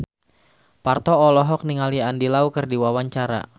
Parto olohok ningali Andy Lau keur diwawancara